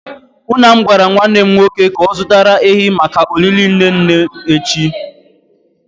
Nna m gwara nwanne m nwoke ka o zutara ehi maka olili nne nne m echi.